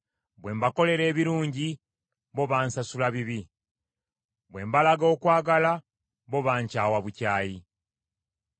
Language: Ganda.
Bwe mbakolera ebirungi bo bansasulamu bibi; bwe mbalaga okwagala bo bankyawa bukyayi.